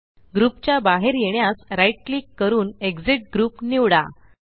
group च्या बाहेर येण्यास right क्लिक करून एक्सिट ग्रुप निवडा